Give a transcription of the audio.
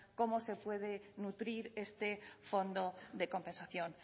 cómo se puede nutrir este fondo de compensación